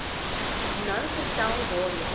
nou vertel waarheen